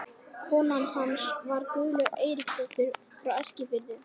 Kona hans var Guðlaug Einarsdóttir frá Eskifirði.